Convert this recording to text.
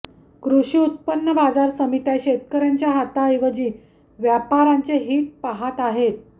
कृषी उत्पन्न बाजार समित्या शेतकऱयांच्या हिताऐवजी व्यापाऱयांचे हित पाहत आहेत